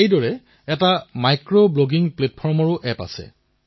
তেওঁৰ গাঁৱত এতিকোপ্পকা পুতলা এসময়ত অশেষ জনপ্ৰিয় আছিল